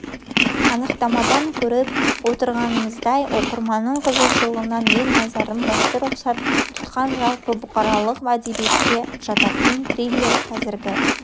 анықтамадан көріп отырғанымыздай оқырманның қызығушылығы мен назарын басты мақсат тұтқан жалпы бұқаралық әдебиетке жататын триллер қазіргі